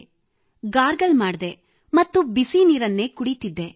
ಗಂಟಲಿನ gargle ಮಾಡಿದೆ ಮತ್ತು ಬಿಸಿನೀರನ್ನೇ ಕುಡಿಯುತ್ತಿದ್ದೆ